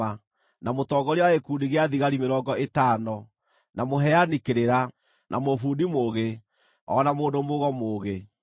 na mũtongoria wa gĩkundi gĩa thigari mĩrongo ĩtano, na mũheani kĩrĩra, na mũbundi mũũgĩ, o na mũndũ-mũgo mũũgĩ.